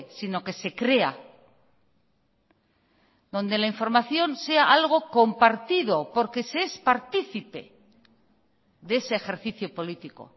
sino que se crea donde la información sea algo compartido porque se es partícipe de ese ejercicio político